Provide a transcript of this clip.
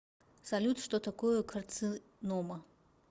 салют что такое карцинома